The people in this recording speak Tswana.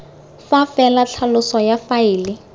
fa fela tlhaloso ya faele